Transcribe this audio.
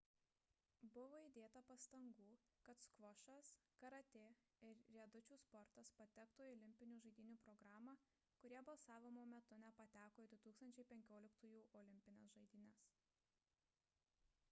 buvo įdėta pastangų kad skvošas karatė ir riedučių sportas patektų į olimpinių žaidynių programą kurie balsavimo metu nepateko į 2015-ųjų olimpines žaidynes